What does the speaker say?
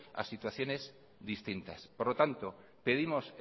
a situaciones distintas por lo tanto pedimos